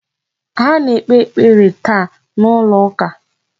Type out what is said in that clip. Ha ga-ekpe ekpere taa n'ụlọ ụka..